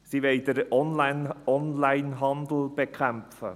Sie wollen den Onlinehandel bekämpfen.